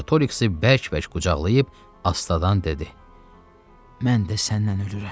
Artoriksi bərk-bərk qucaqlayıb astadan dedi: “Mən də səninlə ölürəm.”